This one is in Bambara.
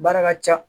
Baara ka ca